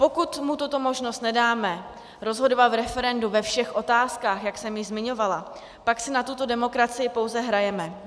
Pokud mu tuto možnost nedáme, rozhodovat v referendu ve všech otázkách, jak jsem již zmiňovala, pak si na tuto demokracii pouze hrajeme.